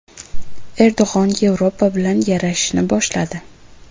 Erdo‘g‘on Yevropa bilan yarashishni boshladi.